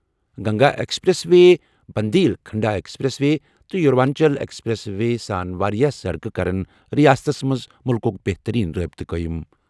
Ganga expressway, Bundelkhand expressway تہٕ Purvanchal expressway ہٮ۪تھ واریٛاہ سڑکہٕ کرِ ریاستس منٛز ملکُک بہتٔریٖن رٲبطہٕ فراہم۔